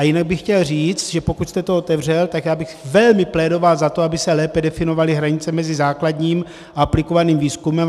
A jinak bych chtěl říct, že pokud jste to otevřel, tak já bych velmi plédoval za to, aby se lépe definovaly hranice mezi základním a aplikovaným výzkumem.